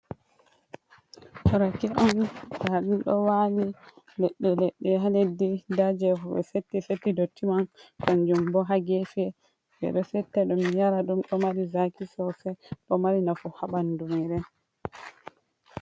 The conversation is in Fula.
Rake on ɗa ɗum ɗo wali leɗɗe leɗɗe ha leddi, nda je ɓe setti setti dotti man kanjum bo ha gefi, ɓe ɗo setta ɗum yara ɗum ɗo mari zaki sosai, ɗo mari nafu ha bandu meɗen.